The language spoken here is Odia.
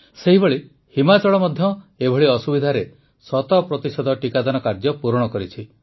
ସେହିଭଳି ହିମାଚଳ ମଧ୍ୟ ଏଭଳି ଅସୁବିଧାରେ ଶତପ୍ରତିଶତ ଟୀକାଦାନ କାର୍ଯ୍ୟ ପୂରଣ କରିଛି